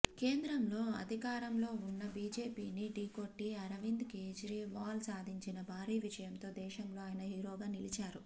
కేంద్రంలో అధికారంలో ఉన్న బీజేపీని ఢీకొట్టి అరవింద్ కేజ్రీవాల్ సాధించిన భారీ విజయంతో దేశంలో ఆయన హీరోగా నిలిచారు